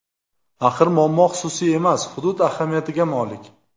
Axir muammo xususiy emas, hudud ahamiyatiga molik.